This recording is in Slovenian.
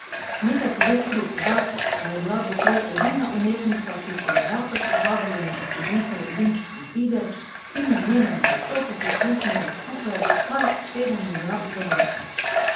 Nekaj pove tudi podatek, da je bila doslej edina umetnica, ki so jo dvakrat povabili na otvoritev olimpijskih iger, in je njenemu nastopu prisluhnilo skupaj kar sedem milijard gledalcev.